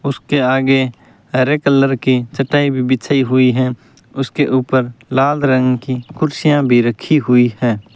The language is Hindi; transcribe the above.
उसके आगे हरे कलर की चटाई भी बिछी हुई हैं उसके ऊपर लाल रंग की कुर्सियां भी रखी हुई है।